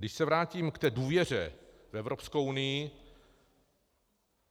Když se vrátím k té důvěře v Evropskou unii.